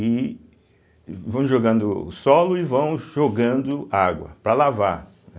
E e vão jogando o solo e vão jogando água para lavar, né